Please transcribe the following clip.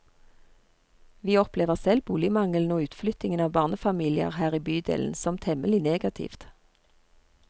Vi opplever selv boligmangelen og utflyttingen av barnefamilier her i bydelen som temmelig negativt.